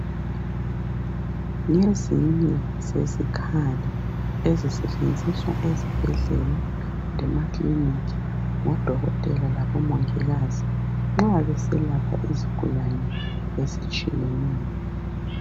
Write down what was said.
Ngezinye zezikhali ezisetshenziswa ezibhedlela lema kilinika ngodokotela labo mongikazi nxa beselapha izigulane ezitshiyeneyo.